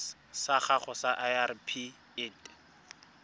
sa gago sa irp it